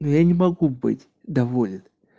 ну я не могу быть доволен